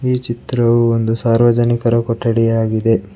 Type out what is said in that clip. ಈ ಚಿತ್ರವು ಒಂದು ಸಾರ್ವಜನಿಕರ ಕೊಠಡಿಯಾಗಿದೆ.